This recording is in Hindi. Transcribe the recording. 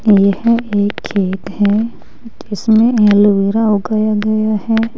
यह एक खेत है जिसमें एलोवेरा उगाया गया है।